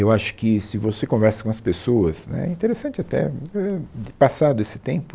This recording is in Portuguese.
Eu acho que se você conversa com as pessoas né, interessante até, passado esse tempo,